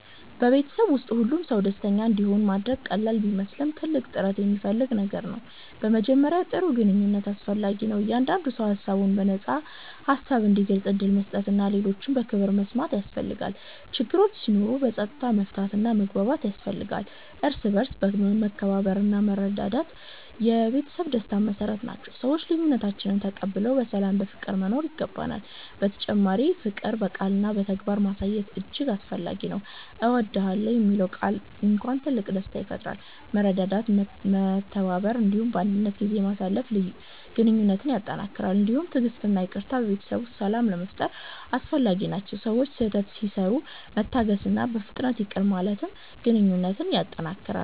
በቤተሰብ ውስጥ ሁሉም ሰው ደስተኛ እንዲሆን ማድረግ ቀላል ቢመስልም ትልቅ ጥረት የሚፈልግ ነገር ነው። በመጀመሪያ ጥሩ ግንኙነት አስፈላጊ ነው፤ እያንዳንዱ ሰው ሀሳቡን በነፃ ሀሳብ እንዲገልጽ ዕድል መስጠት እና ሌሎችን በክብር መስማት ያስፈልጋል። ችግሮች ሲኖሩ በፀጥታ መፍታት እና መግባባት ያስፈልጋል፤ እርስ በርስ መከባበርና መረዳት የቤተሰብ ደስታ መሰረት ናቸው፤ ሰዎች ልዬነታችንን ተቀብለን በሰላም በፍቅር መኖር ይገባናል። በተጨማሪ ፍቅር በቃልና በተግባር ማሳየት እጅግ አስፈላጊ ነው። እወድዳለሁ የሚለው ቃል እንኳን ትልቅ ደስታ ይፈጥራል። መረዳዳት፤ መተባበር እና ባንድነት ጊዜ ማሳለፍ ግንኙነትን ያጠነክራል። እንዲሁም ትዕግሥት እና ይቅርታ በቤተሰብ ውስጥ ሰላም ለመፋጠር አስፈላጊ ናቸው፤ ሰዎች ስህተት ሲሰሩ መታገስእና በፍጥነት ይቅር ማለት ግንኘነት ያጠነክራል።